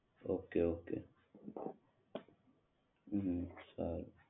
okay okay હમ સારું